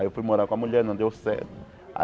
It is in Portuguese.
Aí eu fui morar com a mulher, não deu certo.